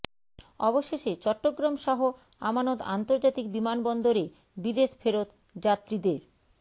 অবশেষে চট্টগ্রাম শাহ আমানত আন্তর্জাতিক বিমানবন্দরে বিদেশ ফেরত যাত্রীদের